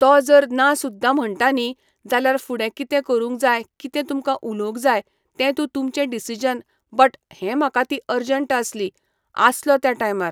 तो जर ना सुद्दां म्हणटा न्ही जाल्या फुडें कितें करूंक जाय कितें तुमकां उलोवंक जाय तें तुं तुमचे डिसिजन बट हे म्हाका ती अर्जंट आसली, आसलो त्या टायमार,